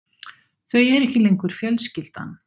Þau eru ekki lengur fjölskyldan.